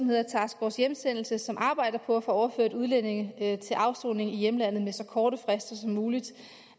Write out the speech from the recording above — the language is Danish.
hedder task force hjemsendelse som arbejder på at få overført udlændinge til afsoning i deres hjemlande med så korte frister som muligt